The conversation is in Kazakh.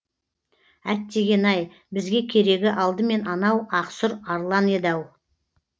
әттеген ай бізге керегі алдымен анау ақсұр арлан еді ау